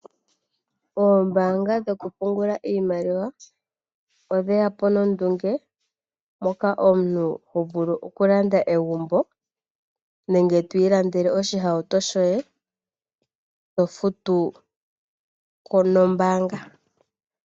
Oombaanga dhoku pungula iimaliwa, odhe ya po nondunge, moka omuntu to ho vulu oku landa egumbo nenge to ilandele oshihauto shoye, to futu ko nombaanga.